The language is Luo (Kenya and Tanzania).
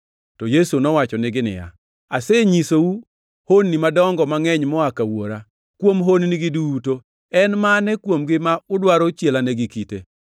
to Yesu nowachonegi niya, “Asenyisou honni madongo mangʼeny moa ka Wuora. Kuom honnigi duto, en mane kuomgi ma udwaro chielane gi kite?”